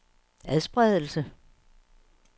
adspredelse